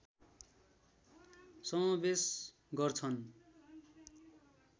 समावेश गर्छन्